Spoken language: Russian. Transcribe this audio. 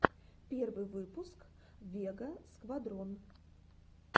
первый выпуск вега сквадрон